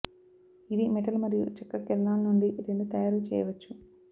ఇది మెటల్ మరియు చెక్క కిరణాలు నుండి రెండు తయారు చేయవచ్చు